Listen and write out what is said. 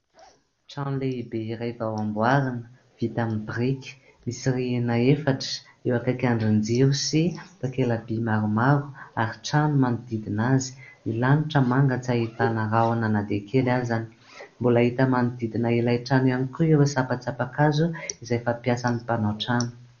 Trano lehibe iray vao amboarina vita amin'ny biriky, misy rihana efatra. Eo akaiky andrin-jiro sy takela-by maromaro ary trano manodidina azy. Ny lanitra manga tsy ahitana rahoana na dia kely azany. Mbola hita manodidina ilay trano ihany koa ireo sampantsampankazo izay fampiasan'ny mpanao trano.